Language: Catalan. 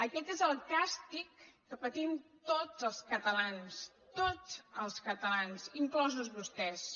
aquest és el càstig que patim tots els catalans tots els catalans inclosos vostès